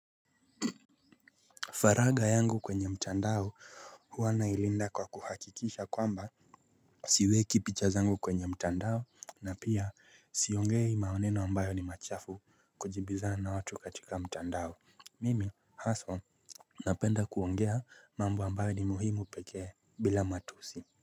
Faragha yangu kwenye mtandao huwa nailinda kwa kuhakikisha kwamba siweki picha zangu kwenye mtandao na pia siongei maneno ambayo ni machafu kujibizana na watu katika mtandao. Mimi haswa napenda kuongea mambo ambayo ni muhimu pekee bila matusi.